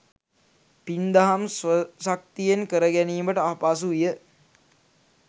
පින් දහම් ස්වශක්තියෙන් කර ගැනීමට අපහසු විය.